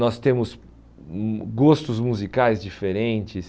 Nós temos hum gostos musicais diferentes.